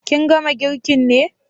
Kin gama girkin ne?